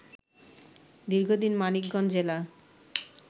দীর্ঘদিন মানিকগঞ্জ জেলা